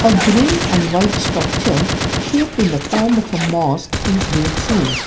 green and white structure shaped in the form of a mosque is been seen.